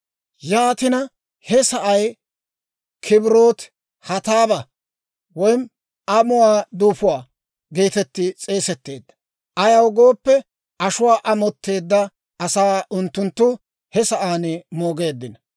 Yaatina he sa'ay Kibroot Hattaabaa (Amuwaa Duufuwaa) geetetti suntsetteedda; ayaw gooppe, ashuwaa amotteedda asaa unttunttu he sa'aan moogeeddino.